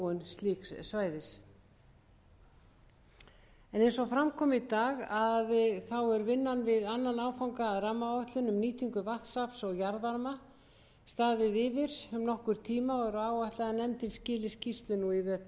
slíks svæðis eins og fram kom í dag hefur vinnan við annan áfanga að rammaáætlun um nýtingu vatnsafls og jarðvarma hefur staðið yfir um nokkurn tíma og er áætlað að nefndin skili skýrslu nú í vetur